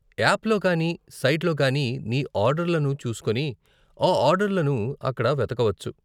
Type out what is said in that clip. యాప్లో కానీ సైట్లో కానీ నీ ఆర్డర్లను చూసుకొని, ఆ ఆర్డర్లను అక్కడ వెతకవచ్చు.